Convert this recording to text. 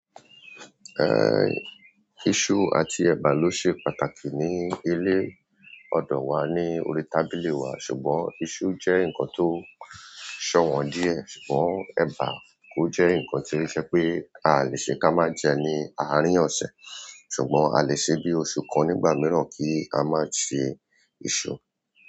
Eh, iṣu àti ẹ̀bà ló ṣe pàtàkì ní ilé ọdọ wa ní orí tábìlì wa, ṣùgbọ́n iṣu jẹ́ ǹkan tó ṣọwọ́n díẹ̀, ṣùgbọ́n ẹ̀bà ò jẹ́ ǹkan tí ó ṣe pé a lè ṣe ká má jẹ ní àárín ọ̀sẹ̀, ṣùgbọ́n a lè ṣe bí oṣù kan nígbà mìíràn kí a má je iṣu.